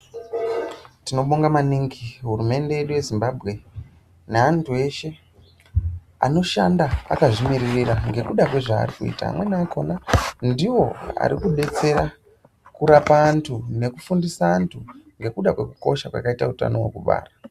Tinobonga maningi hurumende yedu yeZimbabwe, neantu eshe anoshanda akazvimiririra ngekuda kwezvaarikuita. Amweni akhona ndiwo arikudetsera kurapa antu nekufundisa antu ngekuda kwekukosha kwakaita utano wekubara.